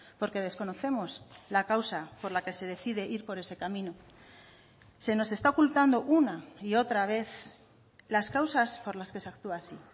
porque desconocemos la causa por la que se decide ir por ese camino se nos está ocultando una y otra vez las causas por las que se actúa así